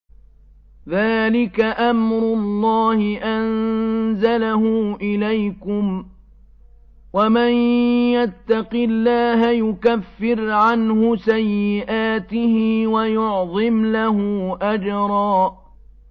ذَٰلِكَ أَمْرُ اللَّهِ أَنزَلَهُ إِلَيْكُمْ ۚ وَمَن يَتَّقِ اللَّهَ يُكَفِّرْ عَنْهُ سَيِّئَاتِهِ وَيُعْظِمْ لَهُ أَجْرًا